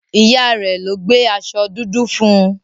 Ìyá rẹ̀ ló gbé aṣọ dúdú fún.